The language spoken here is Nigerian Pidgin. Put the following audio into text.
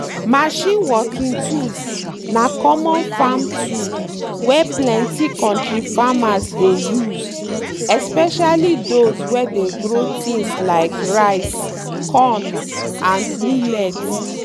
machine working tools na common farm tool wey plenty kontri farmers dey use especially those wey dey grow things like rice corn and millet.